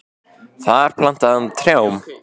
Þar plantaði hann trjám.